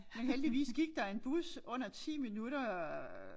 Men heldigvis gik der en bus under 10 minutter